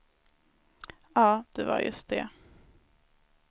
Ja, det var just det.